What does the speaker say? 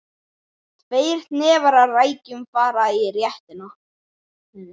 Tveir hnefar af rækjum fara í réttinn.